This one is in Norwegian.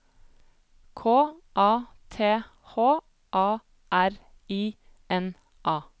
K A T H A R I N A